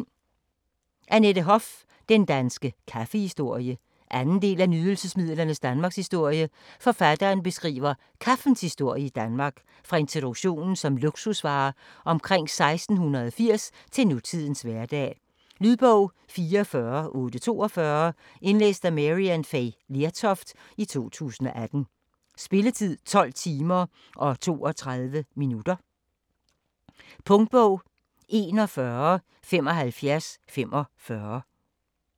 Hoff, Annette: Den danske kaffehistorie 2. del af Nydelsesmidlernes Danmarkshistorie. Forfatteren beskriver kaffens historie i Danmark fra introduktionen som luksusvare omkring 1680 til nutidens hverdag. Lydbog 44842 Indlæst af Maryann Fay Lertoft, 2018. Spilletid: 12 timer, 32 minutter. Punktbog 417545 2017. 10 bind.